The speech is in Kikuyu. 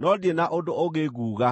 no ndirĩ na ũndũ ũngĩ nguuga.”